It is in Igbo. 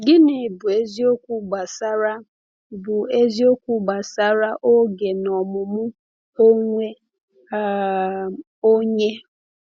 Gịnị bụ eziokwu gbasara bụ eziokwu gbasara oge na ọmụmụ onwe um onye?